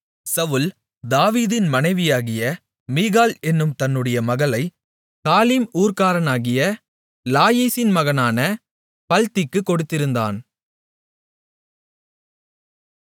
சவுல் தாவீதின் மனைவியாகிய மீகாள் என்னும் தன்னுடைய மகளைக் காலீம் ஊர்க்காரனாகிய லாயிசின் மகனான பல்த்திக்குக் கொடுத்திருந்தான்